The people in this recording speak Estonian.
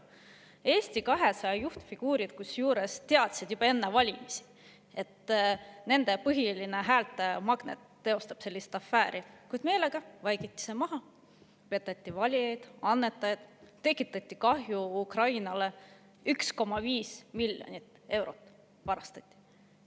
Kusjuures Eesti 200 juhtfiguurid teadsid juba enne valimisi, et nende põhiline häältemagnet teostab sellist afääri, kuid meelega vaikiti see maha, peteti valijaid, annetajaid, tekitati kahju Ukrainale: 1,5 miljonit eurot varastati.